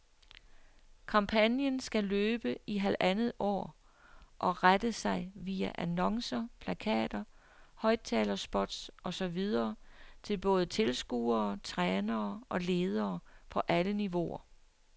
Kampagnen skal løbe i halvandet år og retter sig via annoncer, plakater, højttalerspots og så videre til både tilskuere, trænere og ledere på alle niveauer.